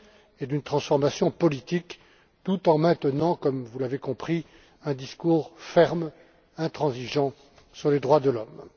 et d'une transformation politique tout en maintenant, comme vous l'avez compris, un discours ferme et intransigeant sur les droits de l'homme.